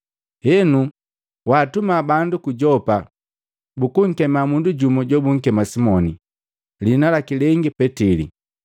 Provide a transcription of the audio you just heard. Heno, waatuma bandu ku Yopa bukunkema mundu jumu jobunkema Simoni, liina lengi Petili.